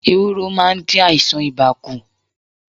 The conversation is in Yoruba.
Ewúro maá n dín àìsàn ibà kù